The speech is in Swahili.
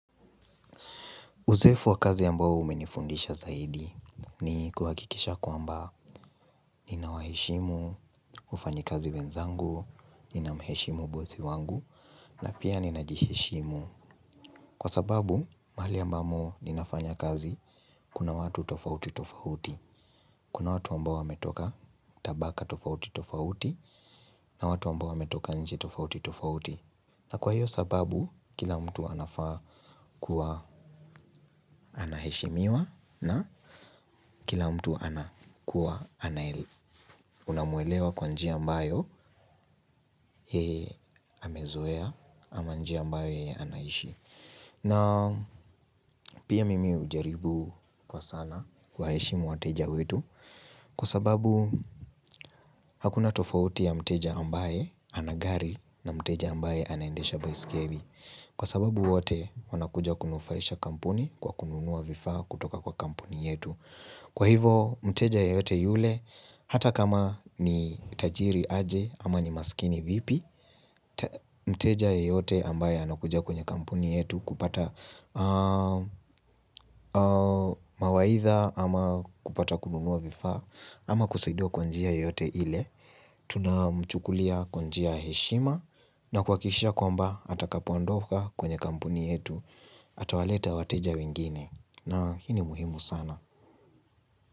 Uzoefu wakazi ambao umenifundisha zaidi ni kuhakikisha kwa amba ninawaheshimu, wafanyi kazi wenzangu, ninamheshimu bozi wangu, na pia ninajiheshimu. Kwa sababu, mahali ambamo ninafanya kazi, kuna watu tofauti tofauti. Kuna watu ambao wametoka tabaka tofauti tofauti, na watu ambao wametoka nje tofauti tofauti. Na kwa hiyo sababu kila mtu anafaa kuwa anaheshimiwa na kila mtu anakuwa. Unamuelewa kwa njia ambayo yeye amezoea ama njia ambayo yeye anaishi. Na pia mimi hujaribu kwa sana kuwaheshimu wateja wetu. Kwa sababu hakuna tofauti ya mteja ambaye ana gari na mteja ambaye anaendesha baiskeli. Kwa sababu wote wanakuja kunufaisha kampuni kwa kununua vifaa kutoka kwa kampuni yetu. Kwa hivo, mteja yeyote yule, hata kama ni tajiri aje ama ni maskini vipi, mteja yeyote ambaye anakuja kwenye kampuni yetu kupata mawaidha ama kupata kununua vifaa ama kusaidiwa kwa njia yeyote ile. Tunamchukulia kwa njia ya heshima na kuhakikishia kwamba atakapoondoka kwenye kampuni yetu atawaleta wateja wengine na hii ni muhimu sana.